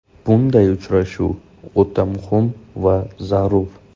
Bunday uchrashuv o‘ta muhim va zarur.